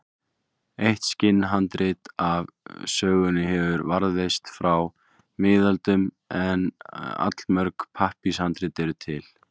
Eitt skinnhandrit af sögunni hefur varðveist frá miðöldum en allmörg pappírshandrit eru til.